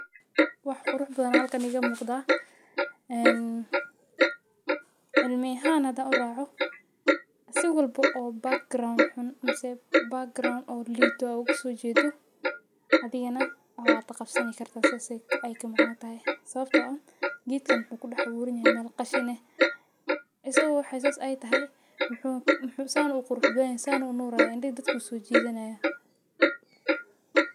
wax quruxbadan aya xalkan iga muqda een cilmi axan hada uraaco si walbo background mase oo background liita oo ogasojedo adigane waxa wad qabsani karta saas ay ka macno taxay sawabto ah geedkan wuxu aburan yaxay meel qashin aah isago wax sas ay taxay muxu san uqurux badan yaxay san san uu unaraya indhixi dadka usojidanaya